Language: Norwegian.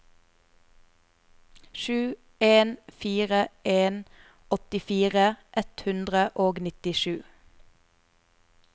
sju en fire en åttifire ett hundre og nittisju